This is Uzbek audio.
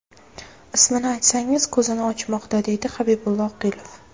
Ismini aytsangiz ko‘zini ochmoqda”, deydi Habibulla Oqilov.